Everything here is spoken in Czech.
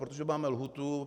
Protože máme lhůtu.